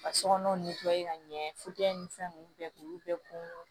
Ka sokɔnɔ ka ɲɛ ni fɛn ninnu bɛɛ k'u bɛɛ kun